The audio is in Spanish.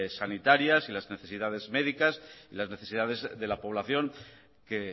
sanitarias y las necesidades médicas y las necesidades de la población que